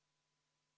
Head kolleegid!